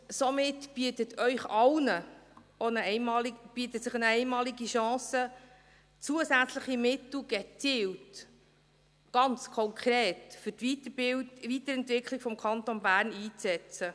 Somit bietet sich Ihnen allen eine einmalige Chance, zusätzliche Mittel gezielt, ganz konkret für die Weiterentwicklung des Kantons Bern einzusetzen.